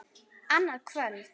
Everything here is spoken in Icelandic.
Annað kvöld.